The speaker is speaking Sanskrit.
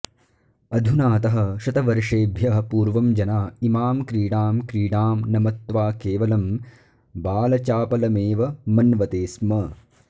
अधुनातः शतवर्षेभ्यः पूर्वं जना इमां क्रीडां क्रीडां न मत्वा केवलं बालचापलमेव मन्वते स्म